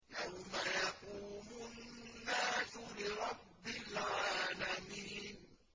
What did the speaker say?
يَوْمَ يَقُومُ النَّاسُ لِرَبِّ الْعَالَمِينَ